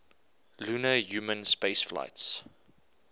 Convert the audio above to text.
lunar human spaceflights